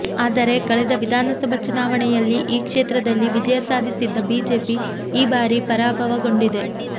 ಆದರೆ ಕಳೆದ ವಿಧಾನಸಭಾ ಚುನಾವಣೆಯಲ್ಲಿ ಈ ಕ್ಷೇತ್ರದಲ್ಲಿ ವಿಜಯ ಸಾಧಿಸಿದ್ದ ಬಿಜೆಪಿ ಈ ಬಾರಿ ಪರಾಭವಗೊಂಡಿದೆ